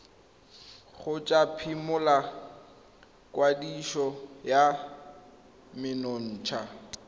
kgotsa phimola kwadiso ya menontsha